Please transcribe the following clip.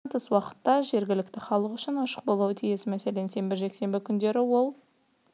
жанындағы спорт залдар жұмыстан тыс уақытта жергіліктіхалық үшін ашық болуы тиіс мәселен сенбі-жексенбі күндері ол